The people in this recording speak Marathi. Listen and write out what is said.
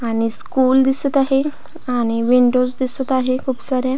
आणि स्कूल दिसत आहे आणि विंडोज दिसत आहे खुप साऱ्या.